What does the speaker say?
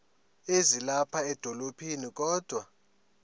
ezilapha edolophini kodwa